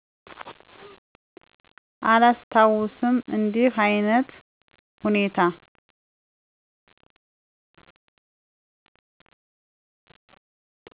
አላስታውስም እንዲህ አይነት ሁኔታ።